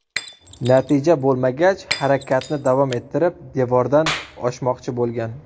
Natija bo‘lmagach, harakatni davom ettirib, devordan oshmoqchi bo‘lgan.